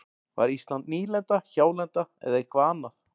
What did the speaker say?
Var Ísland nýlenda, hjálenda eða eitthvað annað?